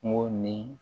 Kungo ni